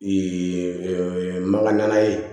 maga nana ye